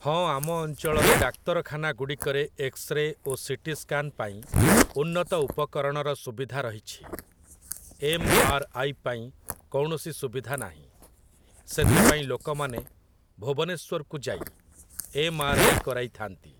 ହଁ ଆମ ଅଞ୍ଚଳରେ ଡାକ୍ତରଖାନାଗୁଡ଼ିକରେ ଏକ୍ସରେ ଓ ସିଟି ସ୍କାନ ପାଇଁ ଉନ୍ନତ ଉପକରଣର ସୁବିଧା ରହିଛି । ଏମ୍. ଆର୍. ଆଇ. ପାଇଁ କୌଣସି ସୁବିଧା ନାହିଁ । ସେଥିପାଇଁ ଲୋକମାନେ ଭୁବନେଶ୍ଵରକୁ ଯାଇ ଏମ୍. ଆର୍. ଆଇ. କରାଇଥାନ୍ତି ।